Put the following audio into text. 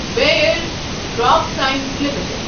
Bir crop science limited